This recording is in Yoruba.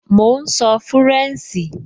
Mò ún sọ fúrẹ̀nṣì